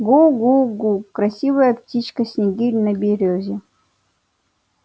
гу-гу-гу красивая птичка снегирь на берёзе